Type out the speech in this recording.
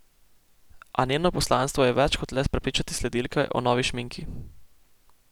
A njeno poslanstvo je več kot le prepričati sledilke o novi šminki.